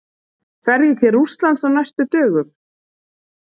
Fer ég til Rússlands á næstu dögum?